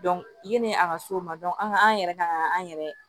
yanni a ka s'o ma an ka an yɛrɛ ka kan an yɛrɛ